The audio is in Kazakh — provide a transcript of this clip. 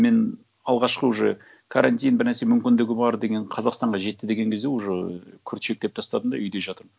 мен алғашқы уже каратин бір нәрсе мүмкіндігі бар деген қазақстанға жетті деген кезде уже күрт шектеп тастадым да үйде жатырмын